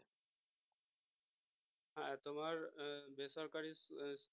হ্যাঁ তোমার বেসরকারি